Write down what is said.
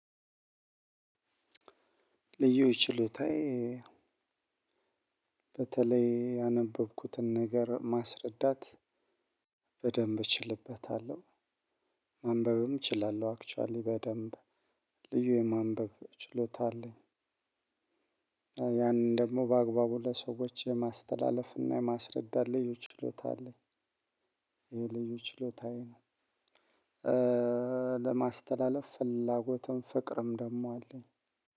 ልዩ ችሎታዬ በተለይ ያነበብኩትን ነገር ማስረዳት በደንብ እችልበታለሁ። ማንበብም እችላለሁ። አክቹአሊ በደንብ ልዩ የማንበብ ችሎታ አለኝ። ያንን ደግሞ በአግባቡ ለሰዎች የማስተላለፍ እና የማስረዳት ልዩ ችሎታ አለኝ። ይሄ ልጅ ችሎታ ነው ለማስተላለፍ ፍላጎትም ፍቅርም ደግሞ አለኝ